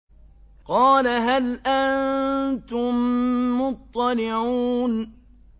قَالَ هَلْ أَنتُم مُّطَّلِعُونَ